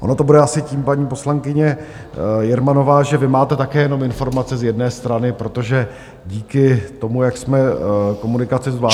Ono to bude asi tím, paní poslankyně Jermanová, že vy máte také jenom informace z jedné strany, protože díky tomu, jak jsme komunikaci zvládli...